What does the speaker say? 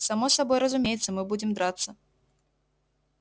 само собой разумеется мы будем драться